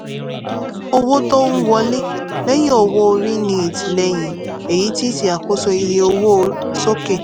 owó-tó-ń-wọlé lẹ́yìn-owó-orí ní ìtìlẹyìn èyí ti ṣe àkóso iye owó sókè.